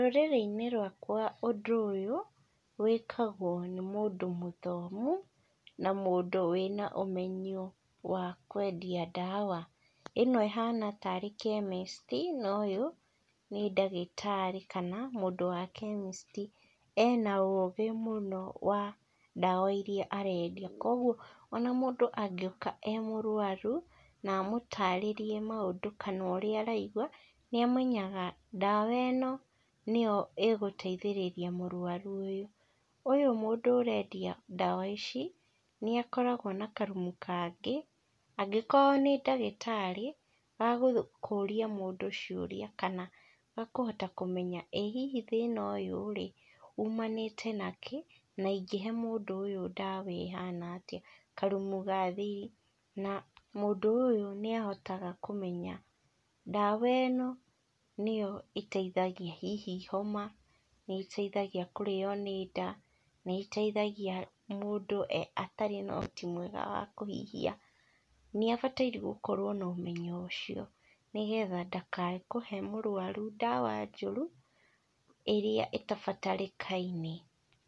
Rũrĩrĩ-inĩ rwakwa ũndũ ũyũ wĩkagwo nĩ mũndũ mũthomu, na mũndũ wĩna ũmenyo wa kwendia ndawa, ĩno ĩhana tarĩ chemist noyũ nĩ ndagĩtarĩ kana mũndũ wa chemist ena ũgĩ mũno, wa, ndawa iria arendia koguo, ona mũndũ angĩũka e mũrwaru, na amũtarĩrie maũndũ kanorĩa araigua, nĩamenyaga ndawa ĩno, nĩyo ĩgũteithĩrĩria mũrwaru ũyũ, ũyũ mũndũ ũrendia ndawa ici, nĩakoragwo na karumu kangĩ, angĩkorwo nĩ ndagĩtarĩ wa gũkũria mũndũ ciũria, kana wa kũhota kũmenya, ĩ hihi thĩna ũyũ rĩ, umanĩte nakĩ na ingĩhe mũndũ ũyũ ndawa ĩhana atĩa, karumu ga thĩ, na mũndũ ũyũ nĩahotaga kũmenya ndawa ĩno nĩyo ĩteithagia hihi homa, nĩteithagia kũrĩo nĩ ndaa, nĩteithagia mũndũ atarĩ nohoti mwega wa kũhihia, nĩabataire gũkorwo nomenyo ũcio, nĩgetha ndakae kũhe mũrwaru ndawa njũru, ĩrĩa ĩtabatarĩkaine.